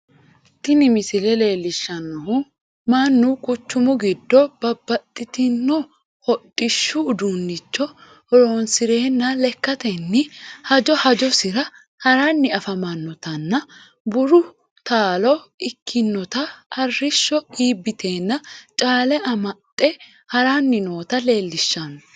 Tini misile leelishanohu Manu quchumu gido babbaxitino hudhishu uduunicho horoonsirenna lekatenni hajo hajosira haranni afamanotanna buru taalo ikinotanna arisho iibiteenna caale amaxe haranni noota leelishano